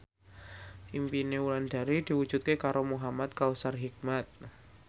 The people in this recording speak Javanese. impine Wulandari diwujudke karo Muhamad Kautsar Hikmat